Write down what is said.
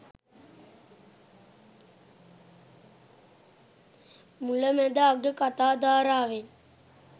මුල මැද අග කතා ධාරාවෙන්